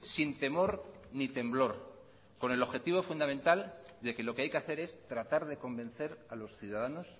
sin temor ni temblor con el objetivo fundamental de que lo que hay que hacer es tratar de convencer a los ciudadanos